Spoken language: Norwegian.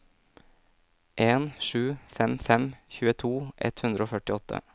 en sju fem fem tjueto ett hundre og førtiåtte